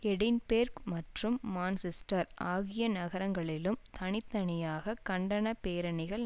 Edinburgh மற்றும் Manchester ஆகிய நகரங்களிலும் தனி தனியாக கண்டன பேரணிகள்